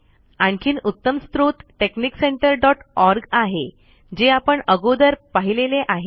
आणखीन उत्तम स्त्रोत texniccentreओआरजी आहे जे आपण अगोदर पाहिलेले आहे